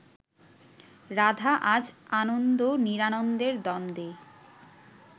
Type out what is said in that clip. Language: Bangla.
রাধা আজ আনন্দ নিরানন্দের দ্বন্দ্বে